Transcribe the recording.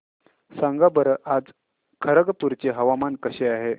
सांगा बरं आज खरगपूर चे हवामान कसे आहे